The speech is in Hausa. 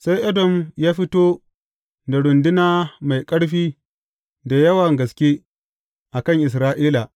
Sai Edom ya fito da runduna mai ƙarfi da yawa gaske a kan Isra’ila.